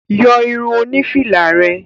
Yọ irun oní fìlà rẹ.